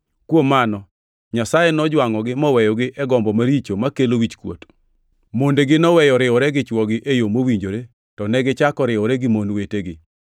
Kuom mano, Nyasaye nojwangʼogi moweyogi e gombo maricho makelo wichkuot. Mondegi noweyo riwore gi chwogi e yo mowinjore, to negichako riwore gi mon wetegi.